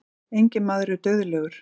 Enginn maður er dauðlegur.